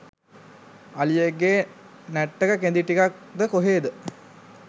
අලියෙක්ගේ නැට්ටක කෙඳි ටිකක්ද කොහෙද